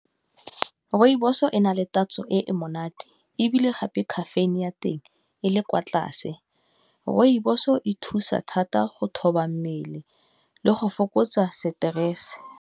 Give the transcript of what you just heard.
Rooibos-o e na le tatso e monate, ebile gape caffeine ya teng e le kwa tlase, rooibos-o e thusa thata go thoba mmele le go fokotsa stress.